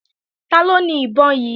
Taló ni ìbọn yí?